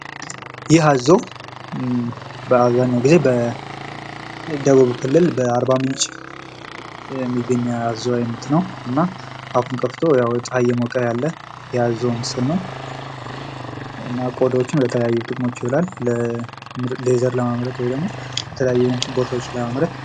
ይህ አዞ በአብዛኛው ጊዜ በደቡብ ክልል በአርባ ምንጭ የሚገኝ የአዞ አይነት ነው እና አፉን ከፍቶ ጸሃይ እየሞቀ ነው ያለ የአዞ ምስል ነው። እና ቆዳዎቹም ለተለያየ ጥቅም ይውላል። ሌዘር ለማምረት ወይም ደግሞ የተለያዩ ነገሮችን ለማምረት።